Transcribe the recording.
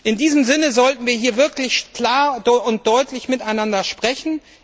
In diesem Sinne sollten wir hier wirklich klar und deutlich miteinander sprechen.